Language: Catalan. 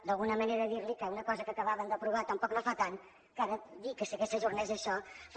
d’alguna manera dirli que una cosa que acabaven d’aprovar tampoc no fa tant que ara dir que s’ajornés això fa